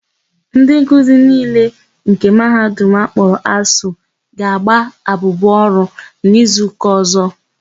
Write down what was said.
Ndị nkuzi niile nke Mahadum akpọrọ ASUU ga-agba abụbụ ọrụ na izuụka ọ̀zọ́.